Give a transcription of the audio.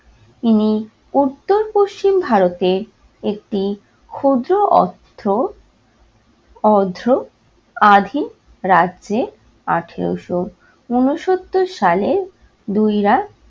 ইনি উত্তর-পশ্চিম ভারতের একটি ক্ষুদ্র অস্থ অধ্র অধীন রাজ্যে আঠেরোশো ঊনসত্তর সালে দুই রা